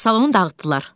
Salonu dağıtdılar.